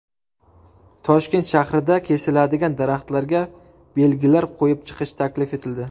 Toshkent shahrida kesiladigan daraxtlarga belgilar qo‘yib chiqish taklif etildi.